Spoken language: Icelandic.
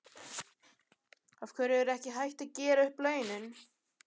Af hverju er ekki hægt að gera upp launin?